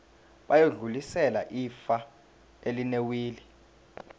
bayodlulisela ifa elinewili